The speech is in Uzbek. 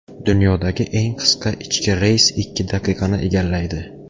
Dunyodagi eng qisqa ichki reys ikki daqiqani egallaydi.